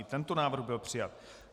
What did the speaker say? I tento návrh byl přijat.